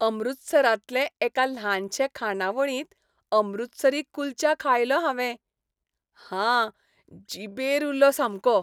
अमृतसरांतले एका ल्हानशे खाणावळींत अमृतसरी कुल्चा खायलो हावें. हा, जिबेर उरलो सामको.